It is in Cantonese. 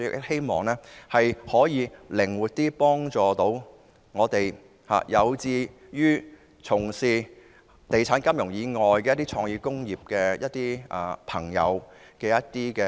希望能夠幫助有志從事地產、金融以外的創意工業的朋友。